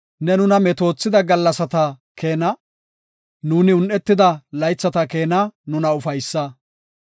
Ne nuna metoothida gallasata keena, nuuni un7etida laythata keena nuna ufaysa.